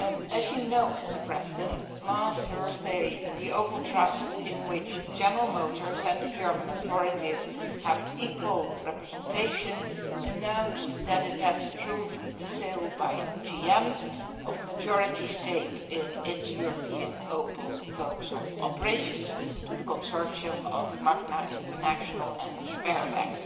As you know, last Thursday, the Opel Trust, in which General Motors and the German authorities have equal representation, announced that it has approved the sale by GM of a majority stake in its European Opel Vauxhall operations to the consortium of Magna International and Sberbank.